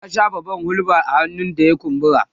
ta shafa man hulba a hannun da ya kumbura